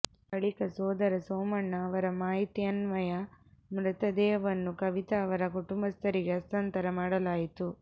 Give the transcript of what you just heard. ಬಳಿಕ ಸೋದರ ಸೋಮಣ್ಣ ಅವರ ಮಾಹಿತಿಯನ್ವಯ ಮೃತದೇಹವನ್ನು ಕವಿತಾ ಅವರ ಕುಟುಂಬಸ್ಥರಿಗೆ ಹಸ್ತಾಂತರ ಮಾಡಲಾಯಿತು